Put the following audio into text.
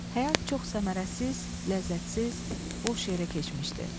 Həyat çox səmərəsiz, ləzzətsiz, boş yerə keçmişdi.